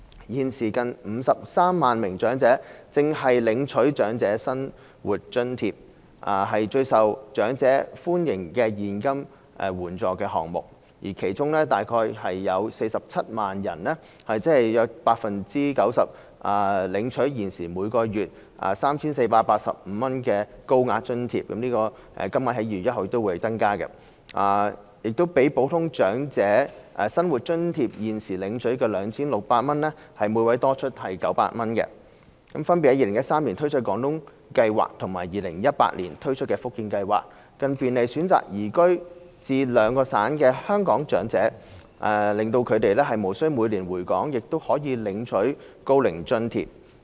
現時近53萬名長者正領取長者生活津貼，是最受長者歡迎的現金援助項目，其中約47萬人——即約 90%—— 領取現時每月 3,485 元的高額津貼，這個金額在2月1日起亦會增加，比普通長者生活津貼現時領取的 2,600 元多出約900元； b 分別在2013年推出廣東計劃和2018年推出福建計劃，便利選擇移居至該兩省的香港長者，使他們無須每年回港亦可領取高齡津貼。